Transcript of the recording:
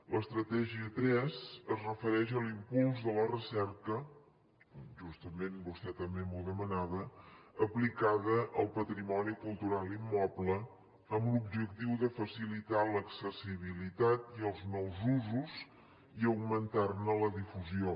l’estratègia tres es refereix a l’impuls de la recerca justament vostè també m’ho demanava aplicada al patrimoni cultural immoble amb l’objectiu de facilitar l’accessibilitat i els nous usos i augmentar ne la difusió